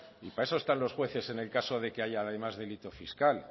y para eso están los jueces en el caso de que haya además delito fiscal